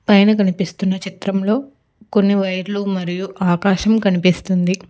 పైన కనిపిస్తున్న చిత్రంలో కొన్ని వైర్లు మరియు ఆకాశం కనిపిస్తుంది.